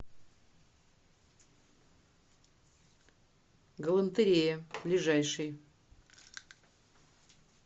галантерея ближайший